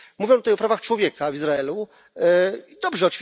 Mówimy tutaj o prawach człowieka w Izraelu i dobrze.